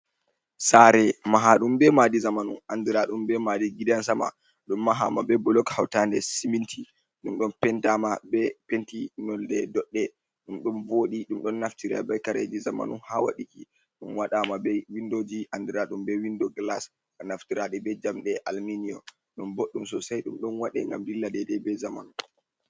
Sare mahaɗum be madi zamanu andira ɗum be madi gidan sama, ɗum mahama be bulok hautande siminti, ɗum ɗon pentama be penti nolde doɗɗe, ɗum don bo ɗi. Ɗum ɗon naftira be kareji zamanu ha waɗuki, ɗum waɗama be windoji andiraɗum be windo glas, ba naftira ɗi be jamɗe alminiyom, ɗum boɗɗum sosai ɗum ɗon waɗe ngam dilla de dai be zamanu.